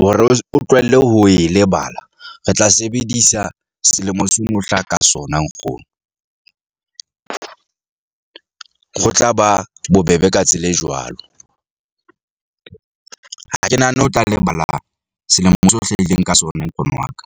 hore o tlohelle ho e lebala. Re tla sebedisa selemo se o no hlaha ka sona nkgono . Ho tla ba bobebe ka tsela e jwalo . Ha ke nahane ho tla lebala selemo seo o hlahileng ka sona nkgono wa ka.